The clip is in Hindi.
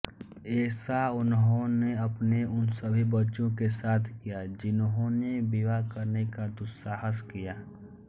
ऐसा उन्होंने अपने उन सभी बच्चों के साथ किया जिन्होंने विवाह करने का दुस्साहस किया